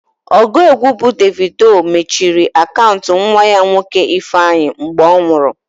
Ọgụ egwu bụ Davido mechiri akaụntụ nwa ya nwoke Ifeanyi mgbe ọ nwụrụ.